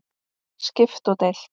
Skipt og deilt